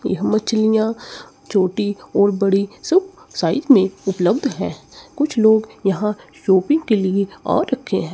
यह मछलियां छोटी और बड़ी सब साइज में उपलब्ध हैं कुछ लोग यहां शॉपिंग के लिए आ रखे हैं।